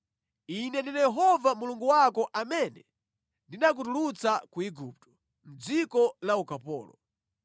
“Ine ndine Yehova Mulungu wako amene ndinakutulutsa ku Igupto, mʼdziko la ukapolo.